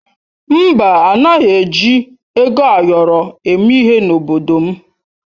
Mba, anaghị eji ego ayọrọ eme ihe n'obodo m.